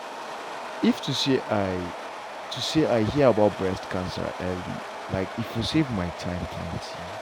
if to say i to say i hear about breast cancer early like e for save my time plenty.